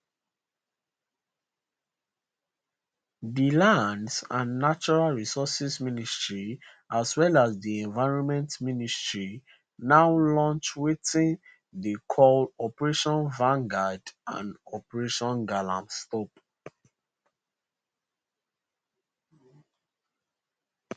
di lands and natural resources ministry as well as di environment ministry now launch wetin dey call operationvangard and operationgalamstop